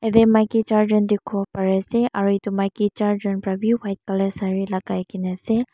yate maiki char jan dekhi pai ase aru etu maiki charjon bhi white colour sari lagai kena ase.